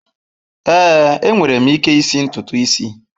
Ee, enwere m ike isi ntutu isi.